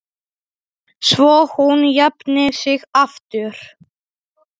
Svo hún jafni sig aftur.